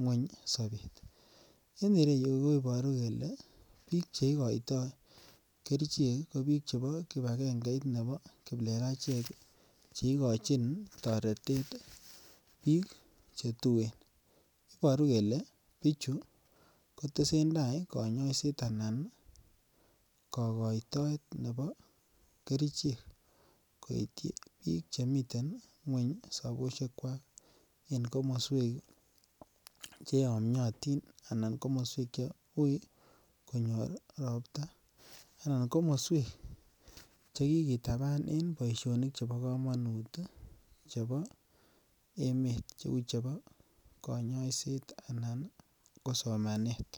ngweny sobeet, en ireyu koboru kelee biik cheikoitoi Kerichek ko biik chebo kibakeng'eit neboo kiplelachek cheikochin toretet biik chetuen, iboruu kelee bichu kotesentai konyoiset anan kokoitoet neboo kerichek koityi biik chemiten ngweny soboshekwak en komoswek cheyomnyotin anan komoswek che uui konyor robta anan komoswek chekikitaban en boishonik chebo komonut chebo emet cheuu chebo konyoiset anan ko somanet.